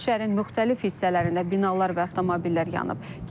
Şəhərin müxtəlif hissələrində binalar və avtomobillər yanıb.